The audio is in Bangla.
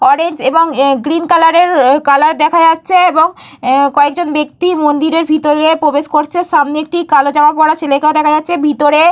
অরেঞ্জ এবং এহ গ্রীন কালারের এহ কালার দেখা যাচ্ছে এবং কয়েকজন ব্যক্তি মন্দিরের ভিতরে প্রবেশ করছে। সামনে একটি কালো জামা পড়া ছেলেকেও দেখা যাচ্ছে। ভিতরে --